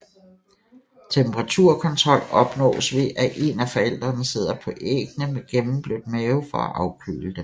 Temperaturkontrol opnås ved at en af forældrene sidder på æggene med gennemblødt mave for at afkøle dem